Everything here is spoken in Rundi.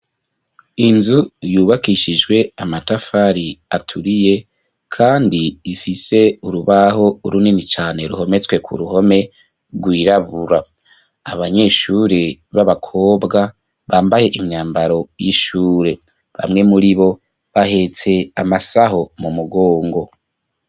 Inzu, yubakishijwe amatafari, aturiye, kandi, ifise urubaho, runini cane, ruhometswe ku ruhome, rwirabura; abanyeshure b'abakobwa, bambaye imyambaro, y'ishure; bamwe muri bo, bahetse amasaho, mu mugongo.